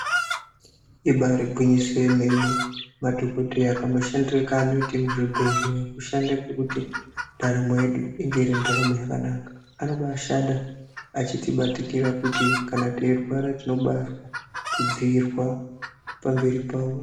Ibari gwinyiso yemene madhogodheya kamushandire kanoita muzvibhedhleya kushanda kwekuti ndaramo yedu inge iri ndaramo yakanaka. Anobashanda achitikbatikira kuti kana teirwara tinobazwa kudzirwa pamberi pavo.